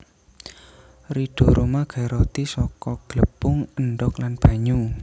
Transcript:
Ridho Rhoma gawe roti saka glepung endhog lan banyu